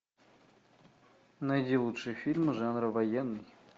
найди лучшие фильмы жанра военный